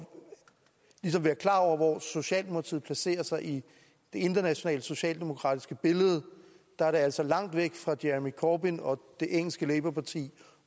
være klar over hvor socialdemokratiet placerer sig i det internationale socialdemokratiske billede det er altså langt væk fra jeremy corbyn og det engelske labourparti